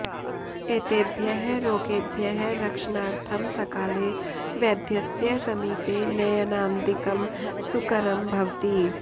एतेभ्यः रोगेभ्यः रक्षणार्थं सकाले वैद्यस्य समीपे नयनादिकं सुकरं भवति